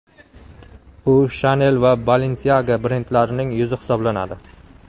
U Chanel va Balenciaga brendlarining yuzi hisoblanadi.